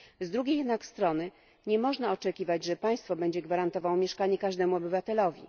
Z drugiej jednak strony nie można oczekiwać, że państwo będzie gwarantowało mieszkanie każdemu obywatelowi.